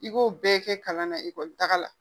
I b'o bɛɛ kɛ kalan na ekɔli taga la